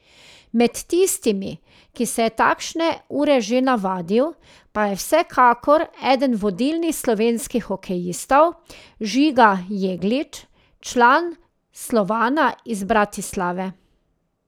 Med tistimi, ki se je takšne ure že navadil, pa je vsekakor eden vodilnih slovenskih hokejistov Žiga Jeglič, član Slovana iz Bratislave.